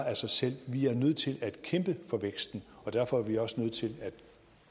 af sig selv vi er nødt til at kæmpe for væksten derfor er vi også nødt til at